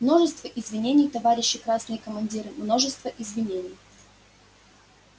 множество извинений товарищи красные командиры множество извинений